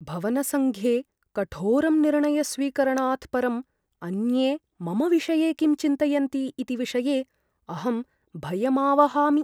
भवनसङ्घे कठोरं निर्णयस्वीकरणात परम् अन्ये मम विषये किं चिन्तयन्ति इति विषये अहं भयमावहामि।